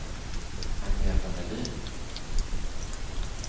Agneta Melin